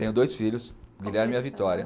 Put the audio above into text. Tenho dois filhos, o Guilherme e a Vitória.